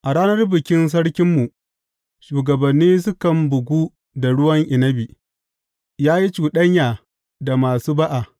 A ranar bikin sarkinmu shugabanni sukan bugu da ruwan inabi, yă yi cuɗanya da masu ba’a.